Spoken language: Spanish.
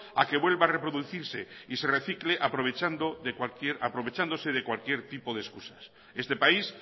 a que vuelva a reproducirse y se recicle aprovechándose de cualquier tipo de excusas este país